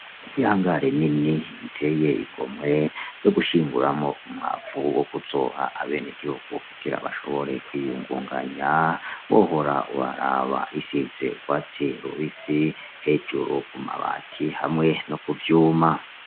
Ihangare nini iteye igomwe yo gushinguramwo umwavu wo kuzoha abenegihugu kugira bashobore kwiyungunganya wohora uraraba, isize urwatsi rubisi hejuru ku mabati hamwe no ku vyuma.